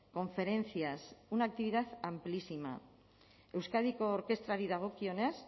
conferencias una actividad amplísima euskadiko orkestrari dagokionez